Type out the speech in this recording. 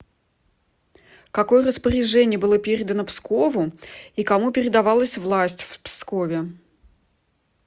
какое распоряжение было передано пскову и кому передавалась власть в пскове